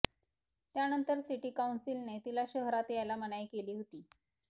त्यानंतर सिटी काउंसिलने तिला शहरात यायला मनाई केली होती